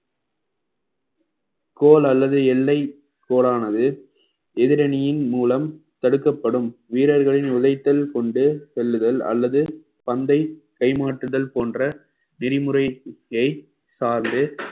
கோல் அல்லது எல்லை கோலானது எதிரணியின் மூலம் தடுக்கப்படும் வீரர்களின் நுழைத்தல் கொண்டு செல்லுதல் அல்லது பந்தை கை மாற்றுதல் போன்ற விதிமுறையை சார்ந்து